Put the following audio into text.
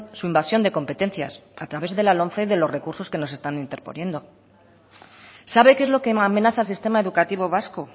su invasión de competencias a través de la lomce de los recursos que nos están interponiendo sabe qué es lo que amenaza al sistema educativo vasco